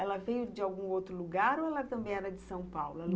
Ela veio de algum outro lugar ou ela também era de São Paulo?